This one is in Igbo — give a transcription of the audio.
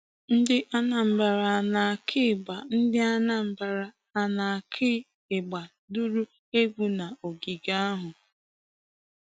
NdịAnambra na-akụ igba NdịAnambra na-akụ igba duru egwu n'ogige ahụ.